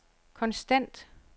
konstant